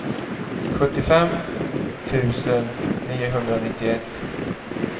sjuttiofem tusen niohundranittioett